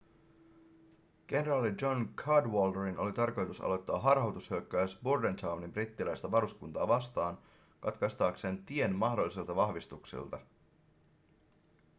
kenraali john cadwalderin oli tarkoitus aloittaa harhautushyökkäys bordentownin brittiläistä varuskuntaa vastaan katkaistakseen tien mahdollisilta vahvistuksilta